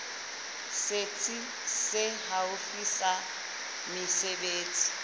setsi se haufi sa mesebetsi